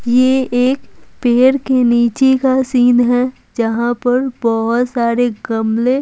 ये एक पेड़ के नीचे का सीन है जहां पर बहुत सारे कमरे --